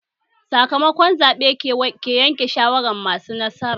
Sakamako zaɓe ke yanke shawaran masu nasara